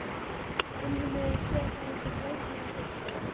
Umheimurinn sér hana sem glæsilegan fulltrúa